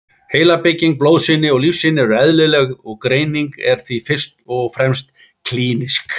Heilabygging, blóðsýni og lífsýni eru eðlileg og greining er því fyrst og fremst klínísk.